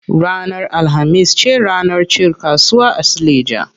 Ranar alhamis ce ranar cin kasuwa a suleja.